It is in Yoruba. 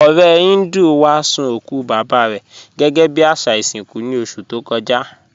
Ọ̀rẹ̀ Híndú wá sun okù baba rẹ gẹgẹ́ bí àṣà ìṣinkú ní oṣù tó kọ́jà.